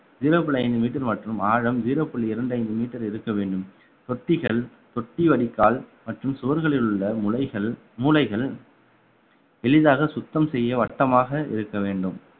zero புள்ளி ஐந்து meter மற்றும் ஆழம் zero புள்ளி இரண்டு ஐந்து meter இருக்க வேண்டும் தொட்டிகள் தொட்டி வடிகால் மற்றும் சுவர்களில் உள்ள முலைகள்~ மூலைகள் எளிதாக சுத்தம் செய்ய வட்டமாக இருக்க வேண்டும்